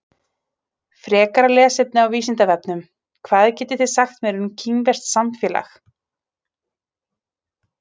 Frekara lesefni á Vísindavefnum: Hvað getið þið sagt mér um kínverskt samfélag?